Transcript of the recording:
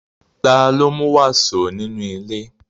Ta ló mú wàsó nínú ilé?